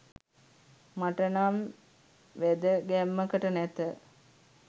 මට නම් වැදගැම්මකට නැත.